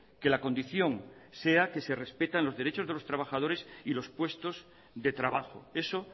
que la condición sea que se respeten los derechos de los trabajadores y los puestos de trabajo eso